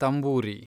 ತಂಬೂರಿ